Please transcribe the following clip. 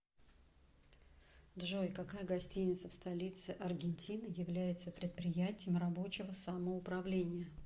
джой какая гостиница в столице аргентины является предприятием рабочего самоуправления